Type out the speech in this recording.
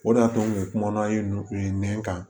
O de y'a to u ye kuma na nɛn kan